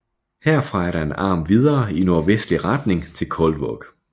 Herfra er der en arm videre i nordvestlig retning til Kaldvåg